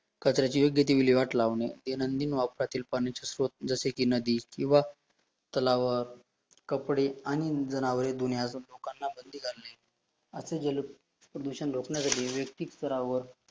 कचऱ्याची योग्य ती विल्हेवाट लावणे, दैनंदिन वापरातील पाण्याच्या स्रोत, जसे की नदी किंवा तलाव कपडे आणि जनावरे दुनियास लोकांना बंदी घालणे अशे जल प्रदूषण रोखण्यासाठी योक्तिक कराव